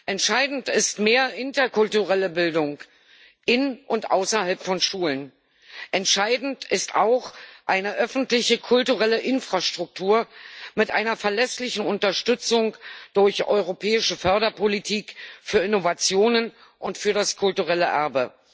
Entscheidend ist mehr interkulturelle Bildung in und außerhalb von Schulen. Entscheidend ist auch eine öffentliche kulturelle Infrastruktur mit einer verlässlichen Unterstützung durch europäische Förderpolitik für Innovationen und für das kulturelle Erbe.